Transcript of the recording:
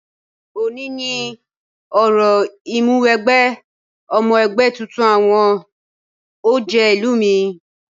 Òní ni òrò Ìmúwẹgbẹ́ ọmọ ẹgbẹ́ tuntun àwọn ọ̀jẹ̀ ìlú mi